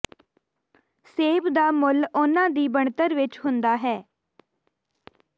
ਸੇਬ ਦਾ ਮੁੱਲ ਉਨ੍ਹਾਂ ਦੀ ਬਣਤਰ ਵਿੱਚ ਹੁੰਦਾ ਹੈ